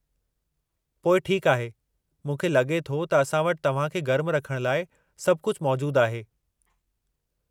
पोइ ठीकु आहे। मूंखे लगे॒ थो त असां वटि तव्हां खे गर्मु रखण लाइ सभु कुझु मौजूदु आहे।